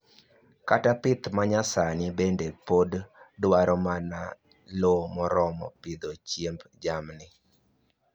Kata pith ma nyasani bende pod dwaro mana lo moromo pidho chiemb jamni